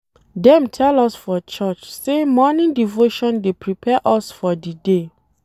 Dem tell us for church sey morning devotion dey prepare us for di day.